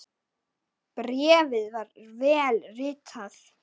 Bréfið var vel ritað.